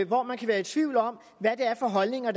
hvor man kan være i tvivl om hvad det er for holdninger